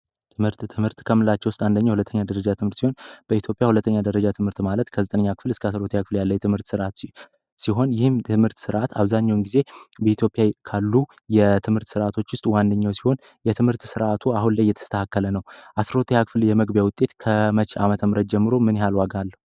ትምህርት ትምህርት ከምንላችቸው ውስጥ አንደኛ ሁለተኛ ደረጃ ትምህር በኢትዮጵያ 2ተኛ ደረጃ ትምህርት ማለት ከ9 እስከ 12 ሲሆን ይህ ትምህርት ስርአት አብዛኛውን ጊዜ በኢትዮጵያ ካሉ የትምህርት ርዓቶች ውስጥ ዋነኛው ሲሆን የትምህርት ርዓቱ አሁን የተስተካከለ ነው የመግቢያ ውጤት ከመተም ረጀምሮ ምን ያህል ዋጋ አለው።